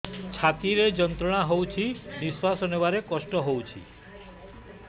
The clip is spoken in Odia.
ଛାତି ରେ ଯନ୍ତ୍ରଣା ହଉଛି ନିଶ୍ୱାସ ନେବାରେ କଷ୍ଟ ହଉଛି